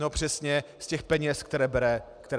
No přesně z těch peněz, které bere obcím.